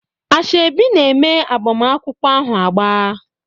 Ashebi na-eme agbamakwụkwọ ahụ agba.